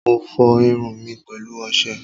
Mo fọ irun mi pẹ̀lú ọṣẹ.